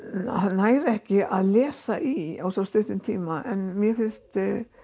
nær ekki að lesa í á svo stuttum tíma mér finnst